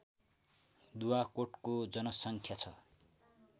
दुवाकोटको जनसङ्ख्या छ